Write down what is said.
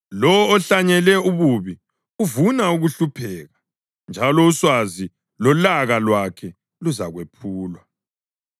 Lowo ohlanyele ububi uvuna ukuhlupheka, njalo uswazi lolaka lwakhe luzakwephulwa.